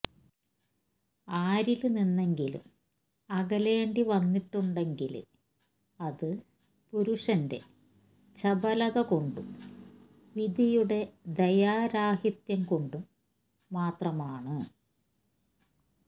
ആരില് നിന്നെങ്കിലും അകലേണ്ടി വന്നിട്ടുണ്ടെങ്കില് അത് പുരുഷന്റെ ചപലത കൊണ്ടും വിധിയുടെ ദയാരാഹിത്യം കൊണ്ടും മാത്രമാണ്